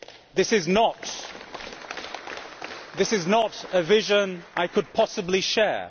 This is not a vision I could possibly share.